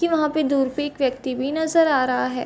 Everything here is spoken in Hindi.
क्यों वहाँ पे दूर पे एक व्यक्ति भी नजर आ रहा है।